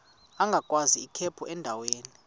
agwaz ikhephu endaweni